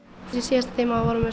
í síðasta tíma vorum við